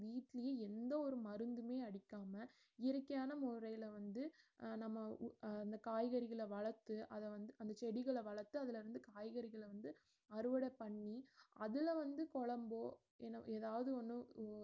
வீட்டுலயும் எந்த ஒரு மருந்துமே அடிக்காம இயற்கையான முறைல வந்து அஹ் நம்ம காய்கறிகள வளர்த்து அத வந்து அந்த செடிகள வளர்த்து அதுல இருந்து காய்கறிகள வந்து அறுபட பண்ணி அதுலவந்து கொழம்போ என~ எதாவது ஒன்னு உ~